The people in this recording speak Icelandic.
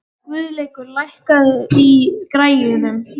Guðleikur, lækkaðu í græjunum.